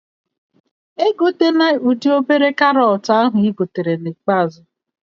Egotena ụdị obere karọt ahụ ị gotere na ikpeazụ